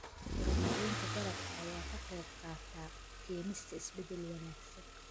Horumarinta dalagga ayaa ka qaybqaata keenista isbeddel wanaagsan.